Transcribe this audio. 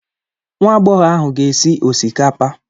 Nwa agbọghọ ahụ ga-esi osikapa.